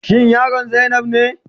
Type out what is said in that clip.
Shin yaron zainab ne?